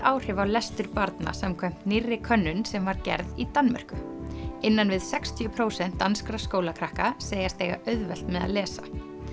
áhrif á lestur barna samkvæmt nýrri könnun sem var gerð í Danmörku innan við sextíu prósent danskra skólakrakka segjast eiga auðvelt með að lesa